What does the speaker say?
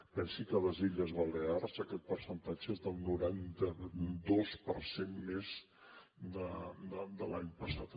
pensi que a les illes balears aquest percentatge és del noranta dos per cent més que l’any passat